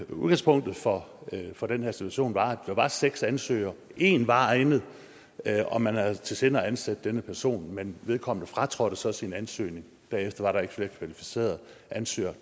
udgangspunktet for for den her institution var at der var seks ansøgere en var egnet og man havde i sinde at ansætte denne person men vedkommende fratrådte så sin ansøgning bagefter var der ikke flere kvalificerede ansøgere